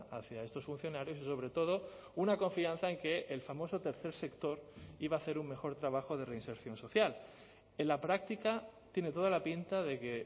hacia estos funcionarios y sobre todo una confianza en que el famoso tercer sector iba a hacer un mejor trabajo de reinserción social en la práctica tiene toda la pinta de que